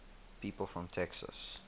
people from texas